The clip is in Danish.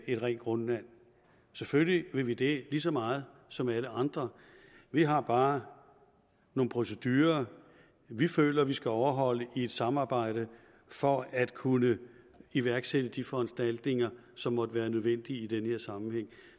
et rent grundvand selvfølgelig vil vi det lige så meget som alle andre vi har bare nogle procedurer vi føler vi skal overholde i et samarbejde for at kunne iværksætte de foranstaltninger som måtte være nødvendige i den her sammenhæng